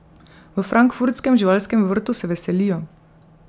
V frankfurtskem živalskem vrtu se veselijo!